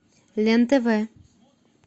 лен тв